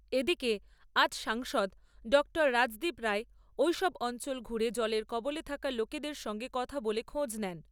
এদিকে আজ সাংসদ ডঃ রাজদীপ রায় ঐসব অঞ্চল ঘুরে জলের কবলে থাকা লোকেদের সঙ্গে কথা বলে খোঁজ নেন।